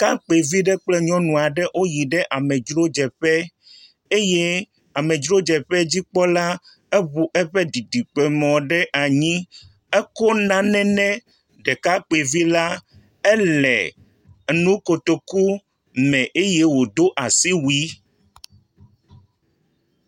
Ɖekakpuivi aɖe kple nyɔnu aɖe woyi ɖe amedrodzeƒe eye amedrodzeƒea dzikpɔla eŋu eƒe didiƒemɔ ɖe anyi. Ekɔ nane nɛ ɖekakpuivi la. Elé nu kotoku me eye wodo asiwui.